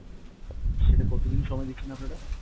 সেটা কতোদিন সময় নিচ্ছেন আপনারা?